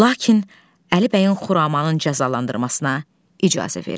Lakin Əlibəyin Xuramanın cəzalandırmasına icazə vermiş.